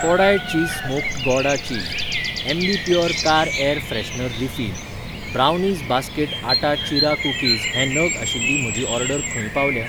Kodai cheese smoked gouda cheese, Ambi Pur car air freshener refill, brownies basket आटा चिरा cookies हे नग आशिल्ली म्हजी ऑर्डर खंय पावल्या?